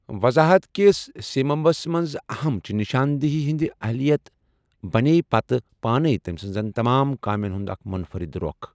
وضاحت كِس سیمبِس منز اہم چِھ، نِشان دیہی ہندِ اہلِیت بنییہِ پتہٕ پانَے تمہِ سنزن تمام كامین ہُند اكھ منفرد رو٘خ ۔